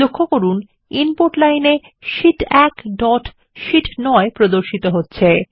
লক্ষ্য করুন input line -এ শীট 1 ডট সি9 প্রদর্শিত হচ্ছে